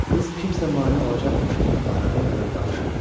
Qız kimsə mane olacaqmış kimi ara vermədən danışırdı.